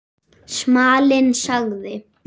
Smalinn sagði